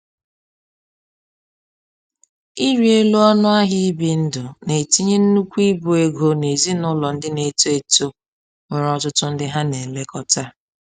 Ịrị elu ọnụ ahịa ibi ndụ na-etinye nnukwu ibu ego n’ezinụlọ ndị na-eto eto nwere ọtụtụ ndị ha na-elekọta